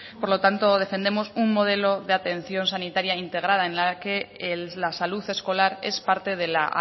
por lo tanto defendemos un modelo de atención sanitaria integrada en la que la salud escolar es parte de la